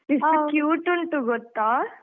ಎಷ್ಟು cute ಉಂಟು ಗೊತ್ತಾ.